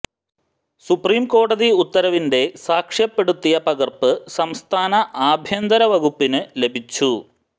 supreme കോടതി ഉത്തരവിന്റെ സാക്ഷ്യപ്പെടുത്തിയ പകര്പ്പ് സംസ്ഥാന ആഭ്യന്തര വകുപ്പിനു ലഭിച്ചു